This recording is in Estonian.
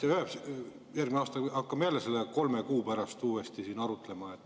Muidu järgmine aasta hakkame jälle nende kolme kuu tõttu seda uuesti arutama.